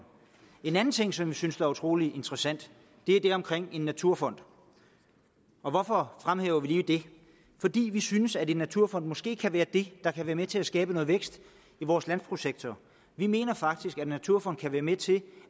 en anden ting som vi synes er utrolig interessant er det omkring en naturfond hvorfor fremhæver vi lige det fordi vi synes at en naturfond måske kan være det der kan være med til at skabe noget vækst i vores landbrugssektor vi mener faktisk at en naturfond kan være med til